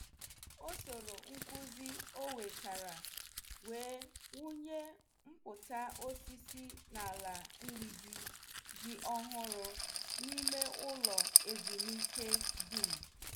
Ọ sọrọ nkụzi onwetara wee wunye mpụta osisi n' ala mgbidi dị ọhụrụ n' ime ụlọ ezumike dum.